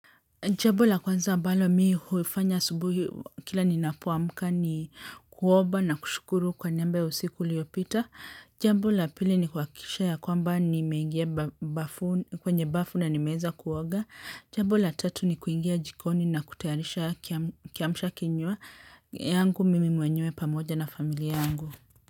Jambo la kwanza ambalo mi huifanya asubuhi kila ninapoamka ni kuoba na kushukuru kwa niaba ya usiku liyopita. Jambo la pili ni kuahakikisha ya kwamba nimeingia bafu na nimeeza kuoga. Jambo la tatu ni kuingia jikoni na kutayarisha kiamshakinywa yangu mimi mwenyewe pamoja na familia yangu.